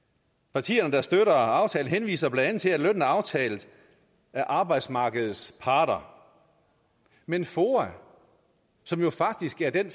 partierne der støtter aftalen henviser blandt andet til at lønnen er aftalt af arbejdsmarkedets parter men foa som jo faktisk er den